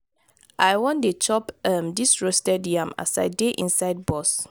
i wan dey chop um dis roasted yam as i dey inside bus.